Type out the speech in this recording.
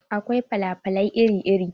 Akwai fala falai iri iri.